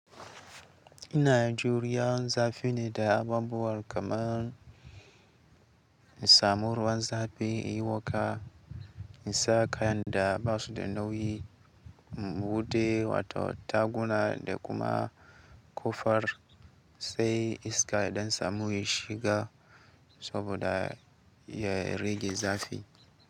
Ina Najeriya zafi ne da abubuwa kamar samuruwan zafi, yi waka, isa kayan da ba su da nauyi, bude wata taguna da kuma kofar sai iska yaɗan samu ya shiga saboda ya rage zafi.